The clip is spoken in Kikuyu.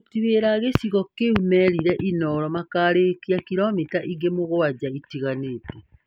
Aruti wĩra a gĩcigo kĩu merire Inooro makarĩkia kiromita ingĩ mugwanja itigarĩte.